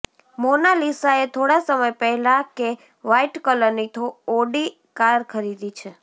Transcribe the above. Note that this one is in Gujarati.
મોનાલીસાએ થોડા સમય પહેલા કે વ્હાઇટ કલરની ઓડી કાર ખરીદી છે